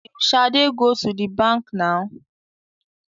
Will shade go to the bank now?